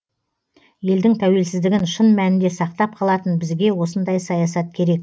елдің тәуелсіздігін шын мәнінде сақтап қалатын бізге осындай саясат керек